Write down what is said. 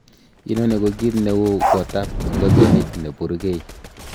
Inoni ko kit neu gotab ingogenik nepurgei.